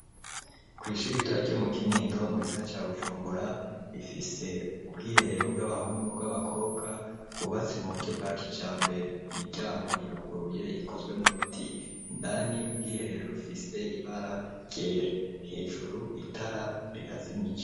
Kw' ishiri ritoya ryo mu Kinindo mugisagara ca Bujumbura rifise ubwiherero bw'abahungu n'ubw'abakobwa bwubatse mu buryo bwa kijambere imiryango iruguruye ikozwe mu biti indani ubwiherero rufise ibara ryera hejuru itara rirazimije.